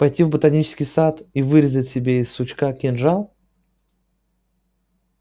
пойти в ботанический сад и вырезать себе из сучка кинжал